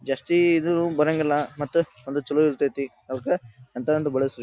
Just ಇದು ಬರಂಗಿಲ್ಲ ಮತ್ ಅದು ಚಲೋ ಇರತೈತ್ರಿ ಅಂತ ಒಂದು ಬಳಸಿ.